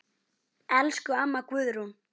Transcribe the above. Elsku amma Guðrún.